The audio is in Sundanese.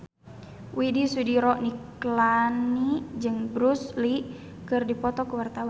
Widy Soediro Nichlany jeung Bruce Lee keur dipoto ku wartawan